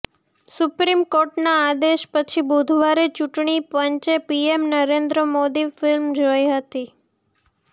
supreme કોર્ટના આદેશ પછી બુધવારે ચૂંટણી પંચે પીએમ નરેન્દ્ર મોદી ફિલ્મ જોઈ હતી